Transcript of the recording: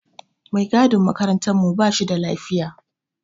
Mai gadin makarantar mu ba shida lafiya.